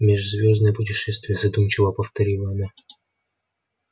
межзвёздные путешествия задумчиво повторила она